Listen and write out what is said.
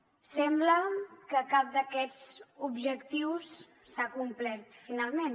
sembla que cap d’aquests objectius s’ha complert finalment